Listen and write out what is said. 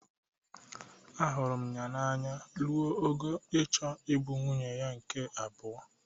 Ahụrụ m ya n'anya ruo ogo ịchọ ịbụ nwunye ya nke abụo.